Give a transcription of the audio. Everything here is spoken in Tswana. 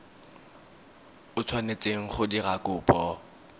o tshwanetseng go dira kopo